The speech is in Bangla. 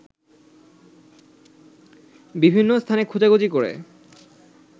বিভিন্ন স্থানে খোঁজাখুঁজি করে